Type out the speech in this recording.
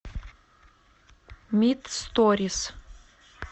мит сторис